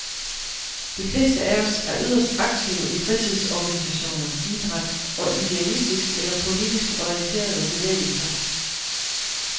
De fleste af os er yderst aktive i fritidsorganisationer, idræt og idealistisk eller politisk orienterede bevægelser.